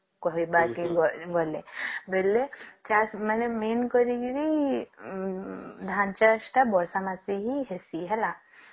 କହିବାର କେ ଗଲେ ବୋଲେ ଚାଷ ମାନେ main କରିକିରି ଉଁ ଧାନ ଚାଷ ତଅ ବର୍ଷା ମାସେ ହିଁ ହେଷୀ ହେଲା